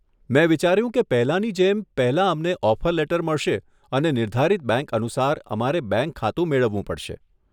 મેં વિચાર્યું કે પહેલાની જેમ, પહેલા અમને ઓફર લેટર મળશે અને નિર્ધારિત બેંક અનુસાર, અમારે બેંક ખાતું મેળવવું પડશે.